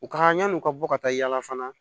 U ka yan'u ka bɔ ka taa yaala fana